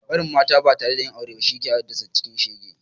Barin mata ba tare da yin aure ba shi yake hadassa cikin shege